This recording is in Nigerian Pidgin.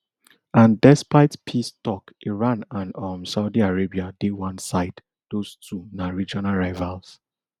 and despite peace tok iran and um saudi arabia dey one side those two na regional rivals